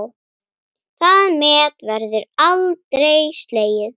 Það met verður aldrei slegið.